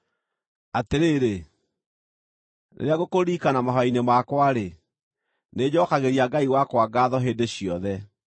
Atĩrĩrĩ, rĩrĩa ngũkũririkana mahooya-inĩ makwa-rĩ, nĩnjookagĩria Ngai wakwa ngaatho hĩndĩ ciothe,